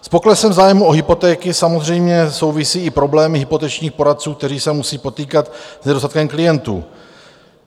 S poklesem zájmu o hypotéky samozřejmě souvisí i problém hypotečních poradců, kteří se musí potýkat s nedostatkem klientů.